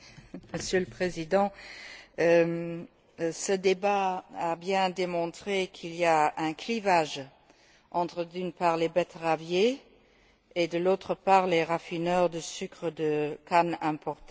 Monsieur le Président, ce débat a bien démontré qu'il y a un clivage entre, d'une part, les betteraviers et, d'autre part, les raffineurs de sucre de canne importé.